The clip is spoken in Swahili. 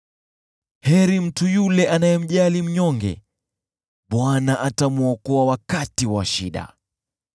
Heri mtu yule anayemjali mnyonge, Bwana atamwokoa wakati wa shida.